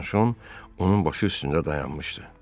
Bianşon onun başı üstündə dayanmışdı.